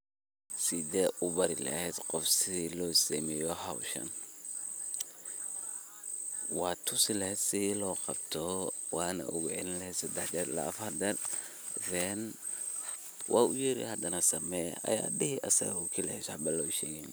Sidhe ubari laheet qoof sidha losameyo howshan watusi laheet sidha loqabto wana ugacilini laheet sedax jera ila afar jera then wa uyeri hadana samey aya dihi asago kalii waxba lo shegin.